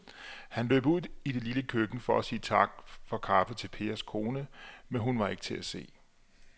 Han løb ud i det lille køkken for at sige tak for kaffe til Pers kone, men hun var ikke til at se.